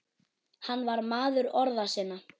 Hann var maður orða sinna.